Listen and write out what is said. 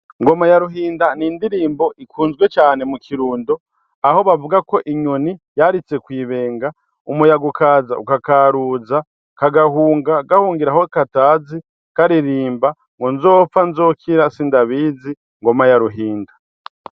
Ngoma ya Ruhinda ni indirimbo ikunzwe cane mu Kirundo, aho bavuga ko inyoni yaritse kw'ibenga umuyaga ukaza ukakaruza kagahunga gahungira aho katazi karirimbo ngo: nzopfa nzokira sindabizi ngoma ya Ruhinda!